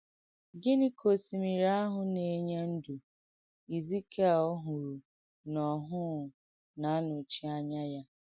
Gịní kà òsìmírì àhụ̀ nà-ènyè ǹdú Èzìkìèl hụ̀rù n’óhụ̀ụ́ nà-ànòchí ányà yà?